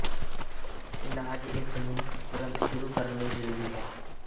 ਇਲਾਜ ਇਸ ਨੂੰ ਤੁਰੰਤ ਸ਼ੁਰੂ ਕਰਨ ਲਈ ਜ਼ਰੂਰੀ ਹੈ